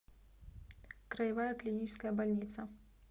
краевая клиническая больница